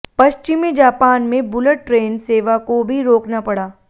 पश्चिमी जापान में bullet train सेवा को भी रोकना पड़ा